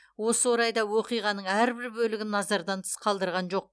осы орайда оқиғаның әрбір бөлігін назардан тыс қалдырған жоқ